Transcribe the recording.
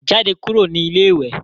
Jádẹ̀ kúrù ní ilẹ̀-ìwé.